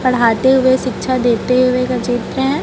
पढ़ाते हुए शिक्षा देते हुए का चित्र हैं।